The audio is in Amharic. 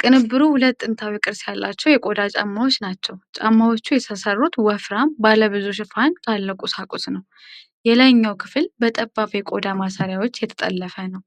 ቅንብሩ ሁለት ጥንታዊ ቅርጽ ያላቸው የቆዳ ጫማዎች ናቸው። ጫማዎቹ የተሠሩት ወፍራም፣ ባለብዙ ሽፋን ካለው ቁሳቁስ ነው። የላይኛው ክፍል በጠባብ የቆዳ ማሰሪያዎች የተጠለፈ ነው።